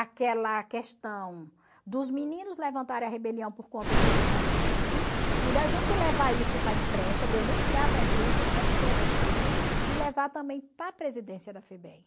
aquela questão dos meninos levantarem a rebelião por conta dos espancamentos e da gente levar isso para a imprensa, denunciar para a imprensa o porquê daquilo e levar também para a presidência da Febem.